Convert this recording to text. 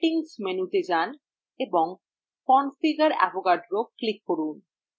settings মেনুতে যান এবং configure avogadro click করুন